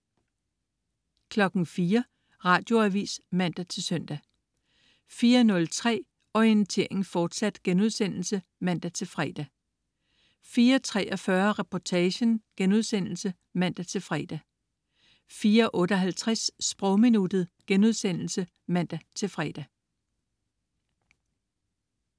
04.00 Radioavis (man-søn) 04.03 Orientering, fortsat* (man-fre) 04.43 Reportagen* (man-fre) 04.58 Sprogminuttet* (man-fre)